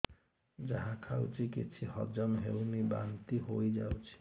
ଯାହା ଖାଉଛି କିଛି ହଜମ ହେଉନି ବାନ୍ତି ହୋଇଯାଉଛି